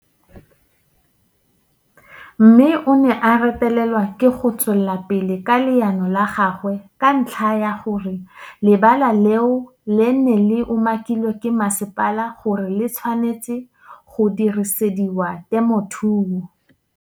Mme o ne a retelelwa ke go tswela pele ka leano la gagwe ka ntlha ya gore le bala leo le ne le umakilwe ke masepala gore le tshwanetse go dirisediwa temothuo.